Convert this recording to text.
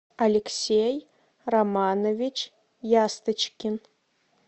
алексей романович ясточкин